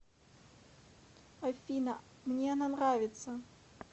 афина мне она нравится